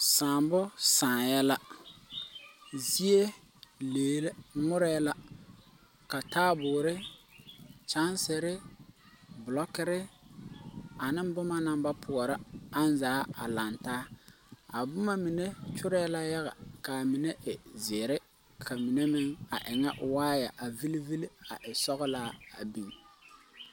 Sããmo sããyɛ la zie lee la ngmore la ka taabɔɔre kyaŋserre blɔkirre aneŋ bomma naŋ ba poɔrɔ ang zaa a langtaa a bomma mine kyorɛɛ la yaga kaa mine e zeere ka mine meŋ a e ŋa waaya a vilevile a e sɔglaa a biŋ.